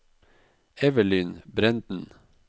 Evelyn Brenden